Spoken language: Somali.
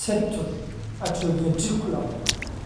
septal atrioventricular?